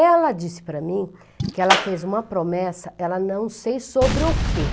Ela disse para mim que ela fez uma promessa, ela não sei sobre o quê.